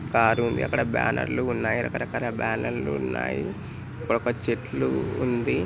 Car ఉంది అక్కడ banner లు ఉన్నాయి. రకాకల బ్యానర్ లు ఉన్నాయి. ఇక్కడ ఒక చెట్లు ఉంది.